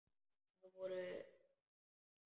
Þau voru lík.